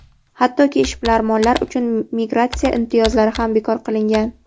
hattoki ishbilarmonlar uchun migratsiya imtiyozlari ham bekor qilingan.